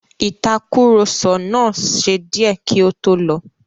Ìtàkurọ̀sọ náà ṣe díẹ́ kí ó tó lọ.